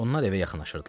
Onlar evə yaxınlaşırdılar.